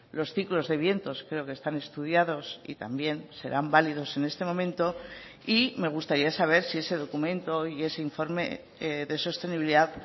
los ciclos de vientos creo que están estudiados y también serán válidos en este momento y me gustaría saber si ese documento y ese informe de sostenibilidad